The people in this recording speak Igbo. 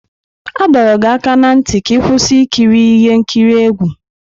A dọrọ gị aka ná ntị ka ị kwụsị ikiri ihe nkiri egwu!